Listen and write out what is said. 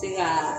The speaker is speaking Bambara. Se ka